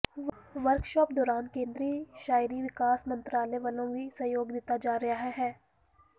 workshop ਦੌਰਾਨ ਕੇਂਦਰੀ ਸ਼ਹਿਰੀ ਵਿਕਾਸ ਮੰਤਰਾਲੇ ਵਲੋਂ ਵੀ ਸਹਿਯੋਗ ਦਿੱਤਾ ਜਾ ਰਿਹਾ ਹੈ